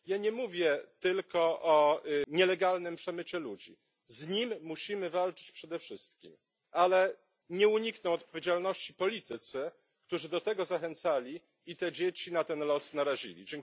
Ja nie mówię tylko o nielegalnym przemycie ludzi z nim musimy walczyć przede wszystkim ale nie unikną odpowiedzialności politycy, którzy do tego zachęcali i te dzieci na ten los narazili.